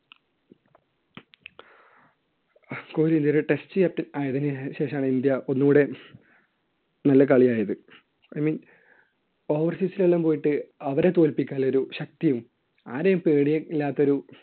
കോഹ്ലി ഇന്ത്യയുടെ test captain ആയതിനുശേഷം ആണ് ഇന്ത്യ ഒന്നുകൂടെ നല്ല കളിയായത്. I mean, overseas ൽ എല്ലാം പോയിട്ട് അവരെ തോൽപ്പിക്കാനുള്ള ഒരു ശക്തിയും ആരെയും പേടി ഇല്ലാത്ത ഒരു